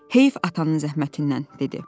Heyf atanın zəhmətindən, dedi.